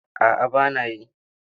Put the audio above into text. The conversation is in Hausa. A'a ba na yi.